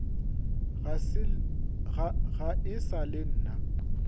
ga e sa le nna